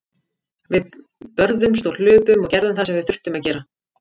Við börðumst og hlupum og gerðum það sem við þurftum að gera.